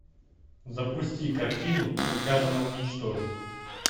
запусти картину приказано уничтожить